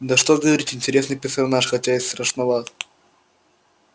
да что и говорить интересный персонаж хотя и страшноват